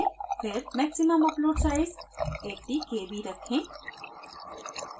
फिर maximum upload size 80 kb रखें